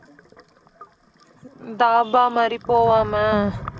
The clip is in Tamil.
dhaba மாதிரி போவோம